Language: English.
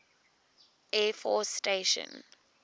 air force station